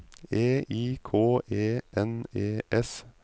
E I K E N E S